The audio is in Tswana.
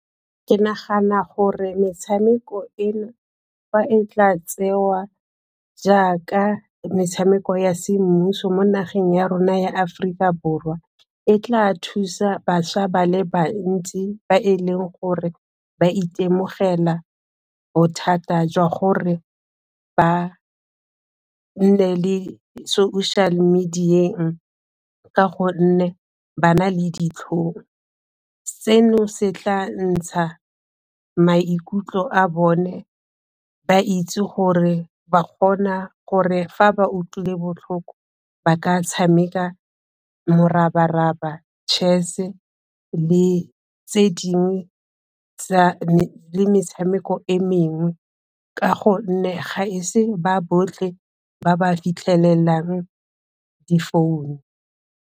Ke nagana gore metshameko eno, fa e tla tsewa jaaka metshameko ya semmuso mo nageng ya rona ya Aforika Borwa, e tla thusa bašwa ba le bantsi ba e leng gore ba itemogela bothata jwa gore ba nne le social media-eng ka gonne ba na le ditlhong, seno se tla ntsha maikutlo a bone ba itse gore ba kgona gore fa ba utlwile botlhoko ba ka tshameka morabaraba, tšhese e le tse dingwe tsa le metshameko e mengwe ka gonne ga e se ba botlhe ba ba fitlhelelang difounu.